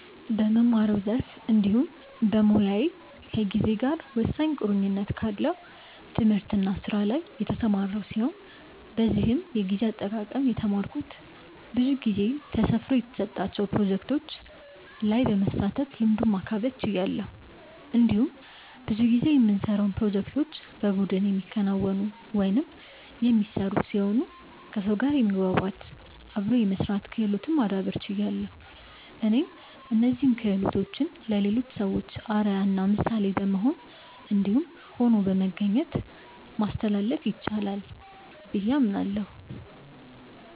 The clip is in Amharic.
በምማረው ዘርፍ እንዲሁም በሞያዬ ከጊዜ ጋር ወሳኝ ቁርኝት ካለው ትምህርት እና ስራ ላይ የተሰማራው ሲሆን በዚህም የጊዜ አጠቃቀም የተማረኩት ብዙ ጊዜ ጊዜ ተሰፍሮ የተሰጣቸው ፕሮጀክቶች ላይ በመሳተፍ ልምዱን ማካበት ችያለሁ። እንዲሁም ብዙ ጊዜ የምንሰራውን ፕሮጀክቶች በቡድን የሚከናወኑ/የሚሰሩ ሲሆኑ ከሰው ጋር የመግባባት/አብሮ የመስራት ክህሎትን ማዳብር ችያለሁ። እኔም እነዚህን ክሆሎቶችን ለሌሎች ሰዎች አርአያ እና ምሳሌ በመሆን እንዲሁም ሆኖ በመገኘት ማስተላለፍ ይቻላል ብዬ አምናለሁ።